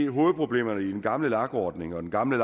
hovedproblemerne i den gamle lag ordning og den gamle